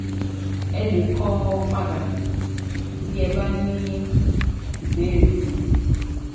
Ẹ lè kọ padà bí ẹ bá ní ìbéèrè sí i